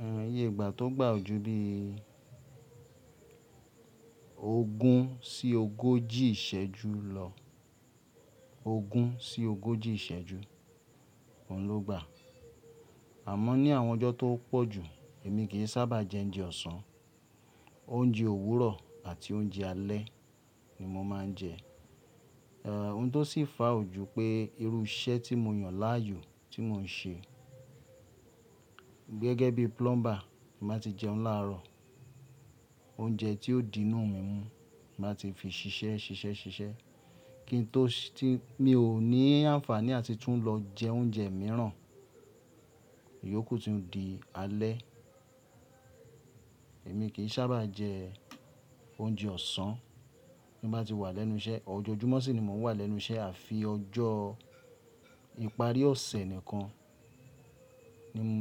Òún iye ìgbà tó gbà ojú bí ogún sí ogójì ìsẹ́jú lọ, ogún sí ogójì ìsẹ́jú, òún ló gbà. Àmọ́ ní àwọn ọjọ́ tó pọ̀jù, èmi kì í sábà jẹ oúnjẹ ọ̀sán, oúnjẹ òwúrọ̀ àti oúnjẹ alẹ́ ni mo máa ń jẹ. Ohun tó sì fàá ju pé irú iṣẹ́ tí mo yàn láàyò tí mò ń ṣe gẹ́gẹ́ bí plumber, màá ti jẹun láàárọ̀, oúnjẹ tí ó di inú mi mú màá ti fi ṣiṣẹ́ ṣiṣẹ́ ṣiṣẹ́, kí n tó tí mi ò ní àǹfàní àti tún lọ jẹ oúnjẹ mìíràn, ìyókù tì di alẹ́. Èmi kí sábà jẹ oúnjẹ ọ̀sán ní bá ti wà lẹ́nu iṣẹ́. Ọjọ́jùmọ̀ sì ni mò ń wà lẹ́nu iṣẹ́ àfi ọjọ́ ìparí ọ̀sẹ̀ nìkan